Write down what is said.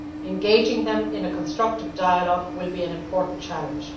Engaging them in a constructive dialogue will be an important challenge.